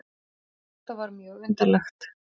Þetta var mjög undarlegt.